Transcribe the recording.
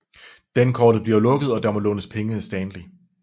Dankortet bliver lukket og der må lånes penge af Stanley